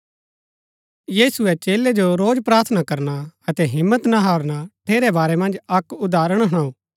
यीशुऐ चेलै जो रोज प्रार्थना करना अतै हिम्मत न हारणा ठेरै बारै मन्ज अक्क उदाहरण हुणाऊ